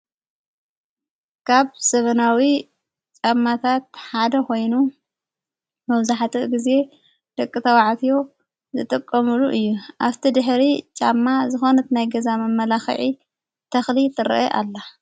ካብ ዘመናዊ ጫማታት ሓደ ኾይኑ መውዛሕቲኡ ጊዜ ድቂ ተዉዓትዮ ዘጠቆሙሉ እዩ ኣብቲ ድኅሪ ጫማ ዝኾነት ናይ ገዛም ኣመላኽዒ ተኽሊ ትርአ ኣላ።